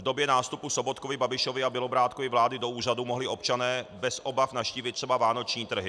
V době nástupu Sobotkovy, Babišovy a Bělobrádkovy vlády do úřadu mohli občané bez obav navštívit třeba vánoční trhy.